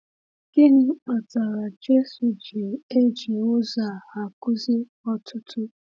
Gịnị kpatara Jésù ji um eji ụzọ a akụzi ọtụtụ?